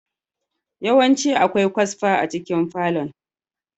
Yawanci akwai kwasfa a cikin falon.